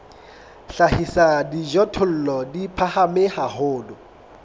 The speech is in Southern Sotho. hlahisa dijothollo di phahame haholo